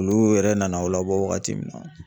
Olu yɛrɛ nana aw labɔ wagati min na